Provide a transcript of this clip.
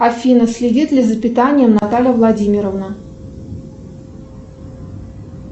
афина следит ли за питанием наталья владимировна